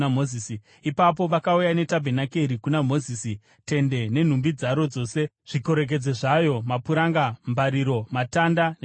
Ipapo vakauya netabhenakeri kuna Mozisi: tende nenhumbi dzaro dzose, zvikorekedzo zvayo, mapuranga, mbariro, matanda nezvigadziko;